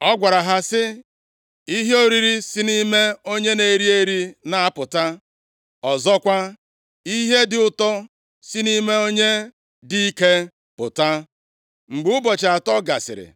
Ọ gwara ha sị, “Ihe oriri si nʼime onye na-eri eri na-apụta, ọzọkwa, ihe dị ụtọ si nʼime onye dị ike pụta.” Mgbe ụbọchị atọ gasịrị,